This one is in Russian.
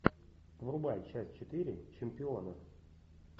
врубай часть четыре чемпиона